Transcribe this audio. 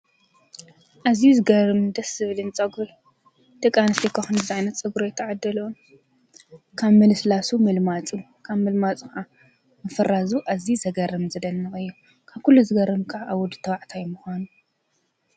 ኣዝዩ ዝገርምን ደስ ዝብልን ፀጉሪ ደቂ ኣንስትዮ እኳ ከምዝዓይነት ፀጉሪ ኣይተዓደለኦን። ካብ ምልስላሱ ምልማፁ ካብ ምልማፁ ከዓ ምፍራዙ ኣዝዩ ዘገርም ዘደንቅ እዩ፡፡ ካብ ኩሉ ዝገርም ከዓ ኣብ ወዲ ተባዕታይ ምኳኑ።